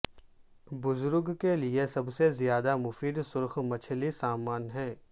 بزرگ کے لئے سب سے زیادہ مفید سرخ مچھلی سامن ہے